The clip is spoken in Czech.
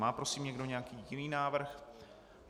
Má prosím někdo nějaký jiný návrh?